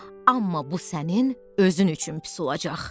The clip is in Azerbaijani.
Amma bu sənin özün üçün pis olacaq.